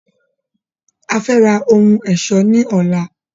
Afẹ́ ra ohun ẹ̀ṣọ́ ní ọlá.